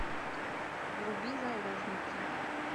вруби заложница